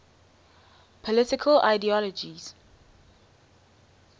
political ideologies